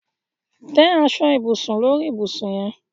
Te aso-ibusun sori ibusun yen